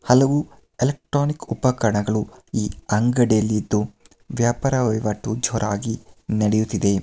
ಹಲವು ಎಲೆಕ್ಟ್ರಾನಿಕ್ ಉಪಕರಣಗಳು ಈ ಅಂಗಡಿಯಲ್ಲಿದ್ದು ವ್ಯಾಪಾರ ವಹಿವಾಟು ಜೋರಾಗಿ ನಡೆಯುತ್ತಿದೆ.